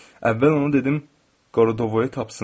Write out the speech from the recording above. Əvvəl ona dedim qoradovoya tapsın.